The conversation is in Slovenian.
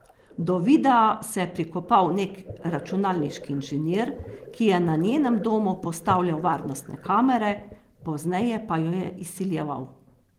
Do videa se je prikopal nek računalniški inženir, ki je na njenem domu postavljal varnostne kamere, pozneje pa jo je izsiljeval.